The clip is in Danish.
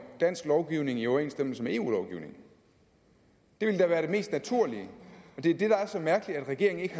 dansk lovgivning i overensstemmelse med eu lovgivningen det ville da være det mest naturlige og det er det der er så mærkeligt at regeringen ikke